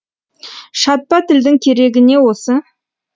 шатпа тілдің керегі не осы